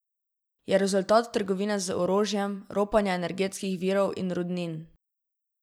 Je rezultat trgovine z orožjem, ropanja energetskih virov in rudnin.